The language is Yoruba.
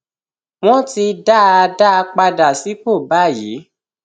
wọn ti dá a dá a padà sípò báyìí